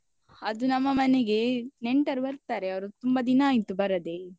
ಅದು ನಮ್ಮ ಮನೆಗೆ, ನೆಂಟರು ಬರ್ತಾರೆ ಅವರು ತುಂಬ ದಿನ ಆಯ್ತು ಬರದೆ.